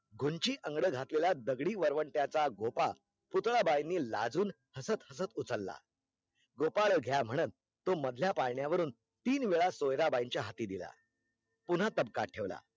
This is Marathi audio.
गुंची अंगड घातलेला दगडी वरवंट्याचा गोफा पुतळबाई लाजुन हसत हसत उचलला गोपळ घ्या म्हणत तो मधल्या पाळण्यावरून तीन वेळा सोयराबाईच्या हाती दिला पुन्हा ताब्कात ठेवला